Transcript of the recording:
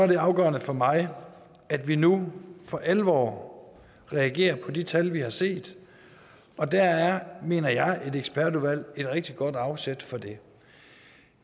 det afgørende for mig at vi nu for alvor reagerer på de tal vi har set og der er mener jeg et ekspertudvalg et rigtig godt afsæt for det